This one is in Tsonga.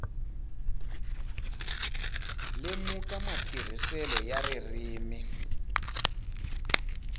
lemuka matirhiselo ya ririmi hi